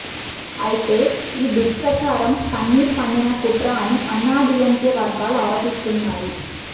అయితే ఈ దుష్ప్రచారం పన్నీర్ పన్నిన కుట్ర అని అన్నాడీఎంకె వర్గాలు ఆరోపిస్తున్నాయి